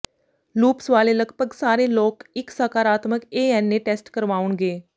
loops ਵਾਲੇ ਲਗਭਗ ਸਾਰੇ ਲੋਕ ਇੱਕ ਸਕਾਰਾਤਮਕ ਏ ਐੱਨ ਏ ਟੈਸਟ ਕਰਵਾਉਣਗੇ